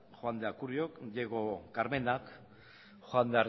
juan de acuriok diego carmenak juan